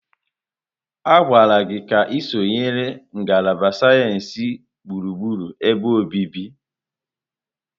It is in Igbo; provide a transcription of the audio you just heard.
A gwara gị ka ị sonyere ngalaba sayensị gburugburu ebe obibi!